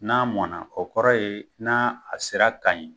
N'a mɔna, o kɔrɔ ye, n'a a sera kan ye.